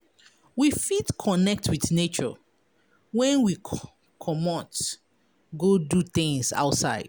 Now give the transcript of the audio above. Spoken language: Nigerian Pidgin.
We fit connect with nature when we comot go do things outside